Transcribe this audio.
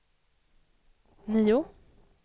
nio